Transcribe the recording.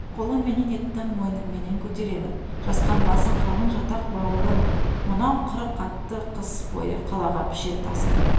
қолымменен еттім мойнымменен көтеремін жасқанбасын қалың жатақ бауырым мынау қырық атты қыс бойы қалаға пішен тасып